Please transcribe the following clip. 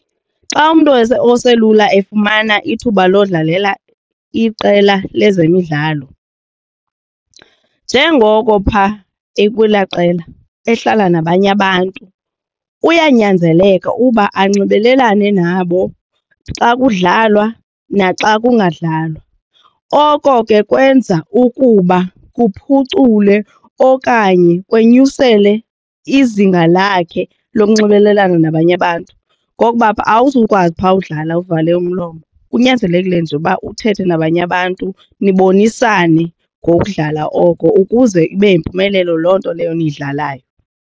Xa umntu oselula efumana ithuba lodlalela iqela lezemidlalo njengoko phaa ekulaa qela ehlala nabanye abantu uyanyanzeleka uba anxibelelane nabo xa kudlalwa naxa kungadlalwa. Oko ke kwenza ukuba kuphucule okanye kwenyusele izinga lakhe lokunxibelelana nabanye abantu ngokuba awuzukwazi phaa udlala uvale umlomo. Kunyanzelekile nje ukuba uthethe nabanye abantu nibonisane ngokudlala oko ukuze ibe yimpumelelo loo nto leyo niyidlalayo.